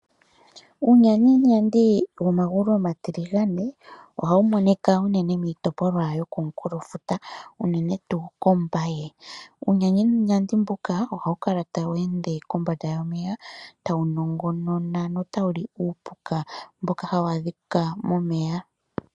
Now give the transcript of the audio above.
Uunyaninyandi womagulu omatiligane oha wu monika unene miitopolwa yokonkulo futa unene tu kombaye, uunyaninyandi mbuka oha wu kala tawu ende kombanda yomeya tawu nongonona nota wu li uupuka mboka ha wu adhika momeya.